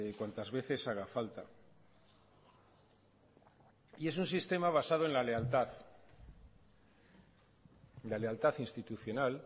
cuantas veces haga falta y es un sistema basado en la lealtad la lealtad institucional